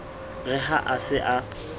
re ha a se a